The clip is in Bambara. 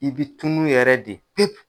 I bɛ tunu yɛrɛ de pepu.